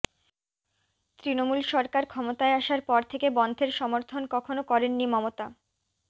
তৃণমূল সরকার ক্ষমতায় আসার পর থেকে বনধের সমর্থন কখনও করেননি মমতা